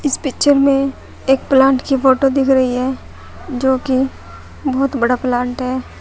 इस पिक्चर में एक प्लांट की फोटो दिख रही है जोकि बहुत बड़ा प्लांट है।